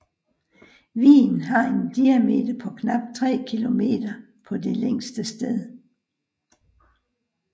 Vigen har en diameter på knap 3 kilometer på det længste sted